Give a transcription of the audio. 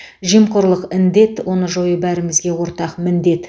жемқорлық індет оны жою бәрімізге ортақ міндет